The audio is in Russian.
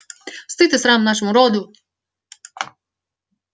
стыд и срам нашему роду